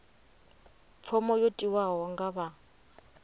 fomo yo tiwaho nga vha